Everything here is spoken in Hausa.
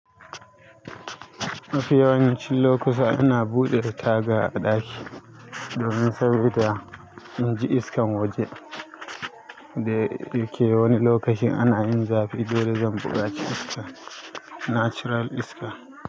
Mafi yawanci lokuta ina buɗe tagar ɗaki domin saboda inji iskan waje. Da yake wani lokacin ana yin zafi, dole zan buƙaci iska, natural iska.